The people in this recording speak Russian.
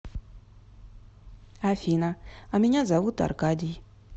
афина а меня зовут аркадий